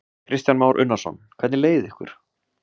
Kristján Már Unnarsson: Hvernig leið ykkur?